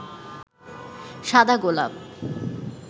সাদা গোলাপ